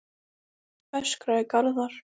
öskraði Garðar.